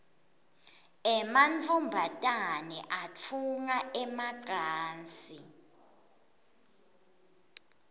emantfombane atfunga emacansi